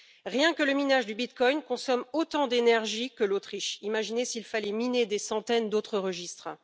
Rien que le minage du bitcoin consomme autant d'énergie que l'Autriche imaginez s'il fallait miner des centaines d'autres registres!